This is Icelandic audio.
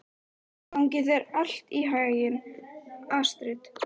Gangi þér allt í haginn, Astrid.